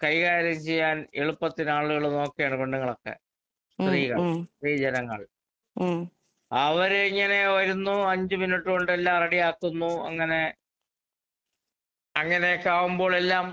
കൈകാര്യം ചെയ്യാൻ എളുപ്പത്തിനാളുകള് നോക്കുകയാണ് പെണ്ണുങ്ങളൊക്കെ. സ്ത്രീകൾ, സ്ത്രീജനങ്ങൾ. അവരിങ്ങനെ വരുന്നു അഞ്ച് മിനിറ്റ് കൊണ്ടെല്ലാം റെഡിയാക്കുന്നു. അങ്ങനെ അങ്ങനെയൊക്കെ ആകുമ്പോളെല്ലാം